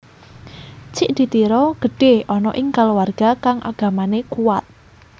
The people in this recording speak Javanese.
Cik di Tiro gedhe ana ing kaluwarga kang agamane kuat